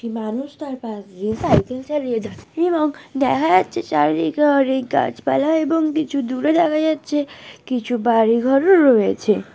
মানুষ তার পাশ দিয়ে সাইকেল চালিয়ে যাচ্ছেএবং দেখা যাচ্ছে চারিদিকে অনেক গাছপালাএবং কিছু দূরে দেখা যাচ্ছে কিছু বাড়ি ঘরও রয়েছে ।